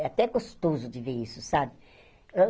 É até gostoso de ver isso, sabe?